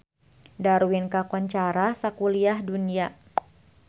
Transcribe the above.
Darwin kakoncara sakuliah dunya